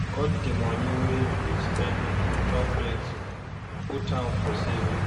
Cut di money wey you dey spend on top flexing put am for savings